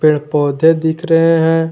पेड़ पौधे दिख रहे हैं।